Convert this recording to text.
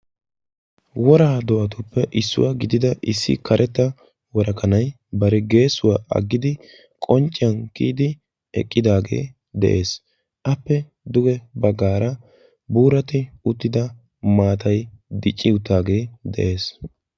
Wora do"atuppe issuwaa gidida issi karetta worakanay bari geessuwa aggidi qoncciyan kiyidi eqqidaagee de'ees. Aappe duge baggaara buuratti uttida maatay dicci uttaagee de'ees.